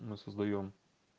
мы создаём